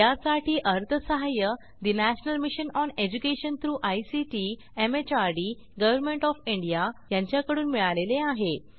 यासाठी अर्थसहाय्य national mission on education through ICT MHRD government of India यांच्याकडून मिळालेले आहे